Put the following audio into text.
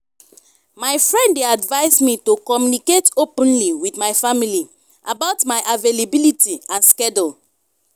my friend dey advise me to communicate openly with my family about my availability and schedule.